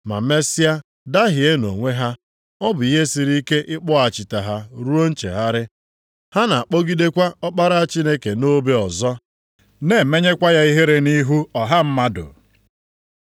ma mesịa dahie nʼonwe ha, ọ bụ ihe siri ike ịkpọghachite ha ruo nchegharị. Ha na akpọgidekwa Ọkpara Chineke nʼobe ọzọ, na emenyekwa ya ihere nʼihu ọha mmadụ.